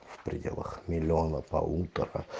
в пределах миллиона полутора